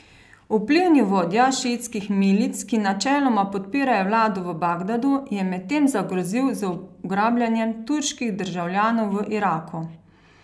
Vplivni vodja šiitskih milic, ki načeloma podpirajo vlado v Bagdadu, je medtem zagrozil z ugrabljanjem turških državljanov v Iraku.